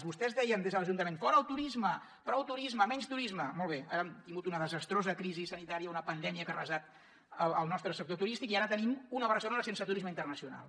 vostès deien des de l’ajuntament fora el turisme prou turisme menys turisme molt bé ara hem tingut una desastrosa crisi sanitària una pandèmia que ha arrasat el nostre sector turístic i ara tenim una barcelona sense turisme internacional